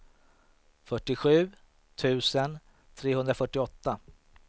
fyrtiosju tusen trehundrafyrtioåtta